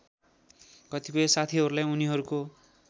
कतिपय साथीहरूलाई उनीहरूको